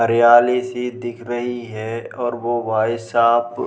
हरियाली सी दिख रही है और वो भाई साहब --